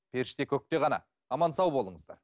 періште көкте ғана аман сау болыңыздар